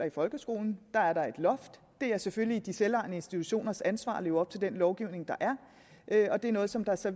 i folkeskolen og det er selvfølgelig de selvejende institutioners ansvar at leve op til den lovgivning der er og det er noget som der så